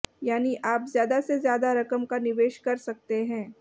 यानी आप ज्यादा से ज्यादा रकम का निवेश कर सकते हैं